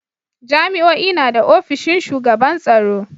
Jami'o'i na da ofishin shugaban tsaro.